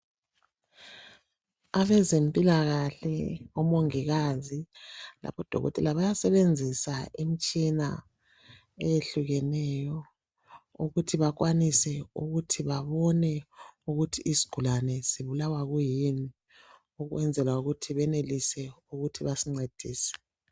Abezempilakahle omongikazi labodokotela bayasebenzisa imitshina eyehlukeneyo ukuthi bakwanise ukuthi babone ukuthi isigulane sibulawa yini ukwenzela ukuthi benelise ukuthi basincedise.